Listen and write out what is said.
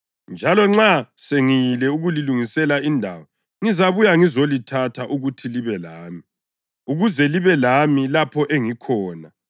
Njalo nxa sengiyile ukulilungisela indawo ngizabuya ngizolithatha ukuthi libe lami, ukuze libe lami lapho engikhona.